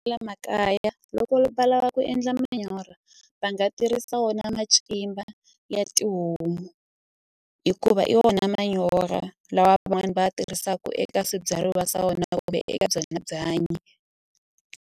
makaya loko va lava ku endla manyoro va nga tirhisa wona macimba ya tihomu hikuva i vona manyoro lawa van'wani va ya tirhisaku eka swibyariwa swa vona eka byona byanyi.